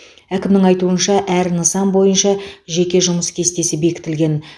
әкімнің айтуынша әр нысан бойынша жеке жұмыс кестесі бекітілген